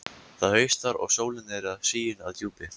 Það haustar, og sólin er sigin að djúpi.